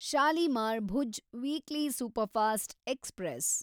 Shalimar Bhuj weekly superfast express